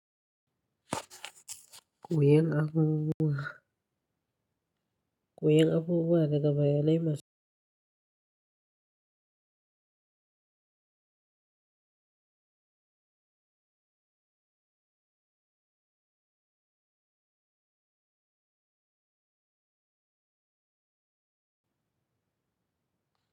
Kuyan abubuwa daga bayanai masu.